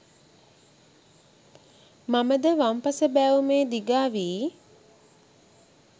මම ද වම් පස බෑවුමේ දිගා වී